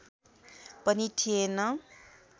पनि थिएन